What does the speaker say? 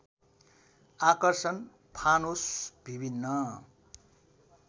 आकर्षण फानुस विभिन्‍न